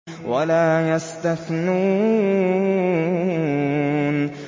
وَلَا يَسْتَثْنُونَ